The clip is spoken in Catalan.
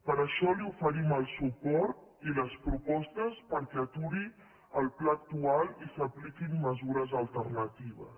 per això li oferim el suport i les propostes perquè aturi el pla actual i s’apliquin mesures alternatives